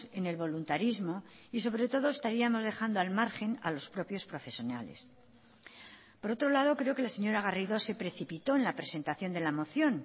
en el voluntarismo y sobre todo estaríamos dejando al margen a los propios profesionales por otro lado creo que la señora garrido se precipitó en la presentación de la moción